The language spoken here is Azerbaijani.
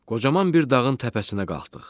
Qocaman bir dağın təpəsinə qalxdıq.